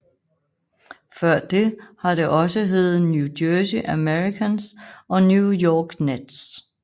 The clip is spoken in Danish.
Før det har det også heddet New Jersey Americans og New York Nets